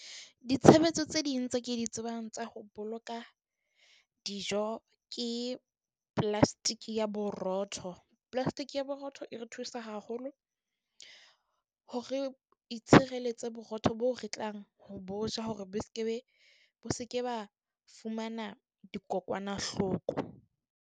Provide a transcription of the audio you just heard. Ditshebeletso tse ding tse ke di tsebang tsa ho boloka dijo ke plastic ya borotho. Plastic ya borotho e re thusa haholo hore itshireletse borotho bo re tlang, ho bo ja hore be se ke be, bo se ke ba fumana dikokwanahloko.